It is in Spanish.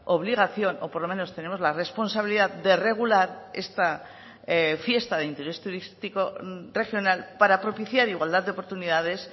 obligación o por lo menos tenemos la responsabilidad de regular esta fiesta de interés turístico regional para propiciar igualdad de oportunidades